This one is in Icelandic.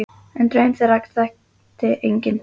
En draum þeirra þekkti enginn.